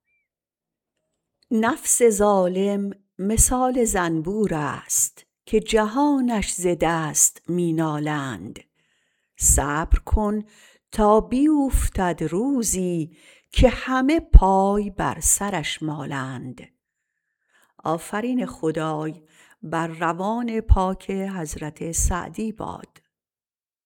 نفس ظالم مثال زنبورست که جهانش ز دست می نالند صبر کن تا بیوفتد روزی که همه پای بر سرش مالند